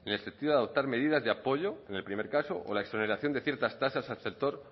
a adoptar medidas de apoyo en el primer caso o la exoneración de ciertas tasas al sector